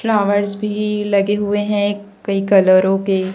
flowers भी लगे हुए हैं कई कलरों के--